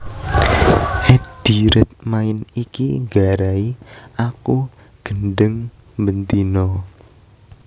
Eddie Redmayne iki nggarai aku gendheng ben dina